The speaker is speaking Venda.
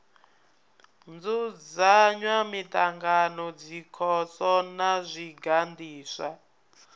dzudzanya miṱangano dzikhoso na zwiganḓiswa